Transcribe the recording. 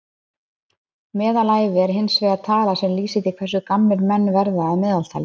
Meðalævi er hins vegar tala sem lýsir því hversu gamlir menn verða að meðaltali.